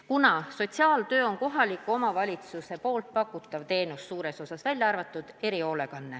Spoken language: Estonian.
Sotsiaaltöö seisneb suures osas kohaliku omavalitsuse pakutavates teenustes, välja arvatud erihoolekanne.